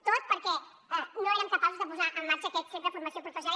tot perquè no érem capaços de posar en marxa aquest centre de formació professional